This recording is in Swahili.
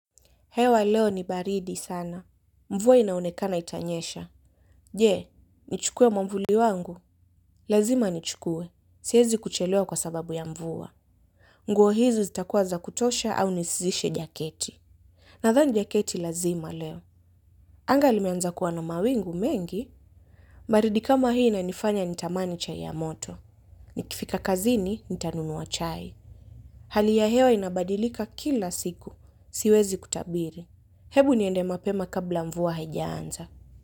Hewa leo ni baridi sana. Mvua inaonekana itanyesha. Je, nichukue mwavuli wangu. Lazima nichukue. Siezi kuchelewa kwa sababu ya mvua. Nguo hizo zitakuwa za kutosha au nisizishe jaketi. Nadhani jaketi lazima leo. Anga limeanza kuwa na mawingu mengi. Baridi kama hii inanifanya nitamani chai ya moto. Nikifika kazini nitanunua chai. Hali ya hewa inabadilika kila siku. Siwezi kutabiri. Hebu niende mapema kabla mvua haijaanza.